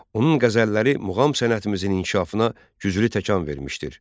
Onun qəzəlləri muğam sənətimizin inkişafına güclü təkan vermişdir.